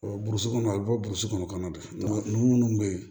burusi kɔnɔ a bɛ bɔ kɔnɔ de ninnu minnu bɛ yen